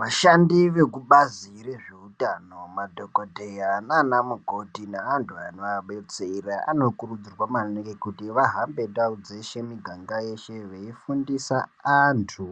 Vashandi vekubazi rezveutano madhokodheya ananamukoti neantu anoabestera anokurudzirwa maningi kuti vahambe ndau dzeshe muganga yeshe veifundisa antu